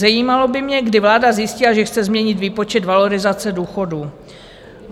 Zajímalo by mě, kdy vláda zjistila, že chce změnit výpočet valorizace důchodů.